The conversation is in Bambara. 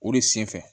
O de sen fɛ